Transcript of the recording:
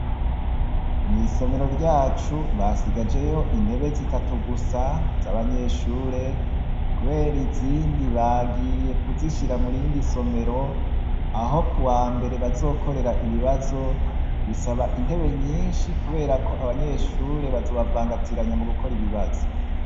Mwisomero ryacu basigajeyo intebe zitatu gusa z' abanyeshure kubera izindi bagiye kuzishira murindi somero aho kuwambere bazokorera ibibazo bisaba intebe nyinshi kubera ko abanyeshure bazobavangatiranya mugukora ibibazo.